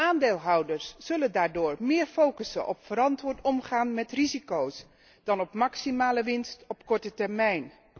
Aandeelhouders zullen daardoor meer focussen op verantwoord omgaan met risico's dan op maximale winst op korte termijn.